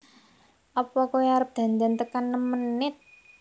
Opo koe arep dandan tekan nem menit